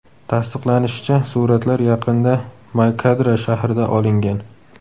Tasdiqlanishicha, suratlar yaqinda May-Kadra shahrida olingan.